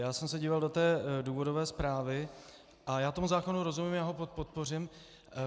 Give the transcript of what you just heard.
Já jsem se díval do té důvodové zprávy a já tomu zákonu rozumím, já ho podpořím.